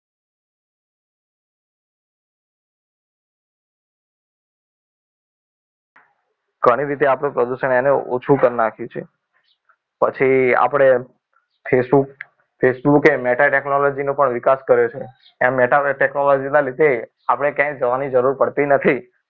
ઘણી રીતે આપણું પ્રદૂષણ એને ઓછું કરી નાખ્યું છે પછી આપણે facebook એ meta technology નો પણ વિકાસ કર્યો છે એમ meta technology ના લીધે આપણે ક્યાંય જવાની જરૂર પડતી નથી